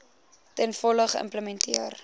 ten volle geïmplementeer